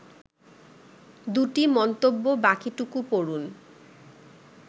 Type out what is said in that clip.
২টি মন্তব্য বাকিটুকু পড়ুন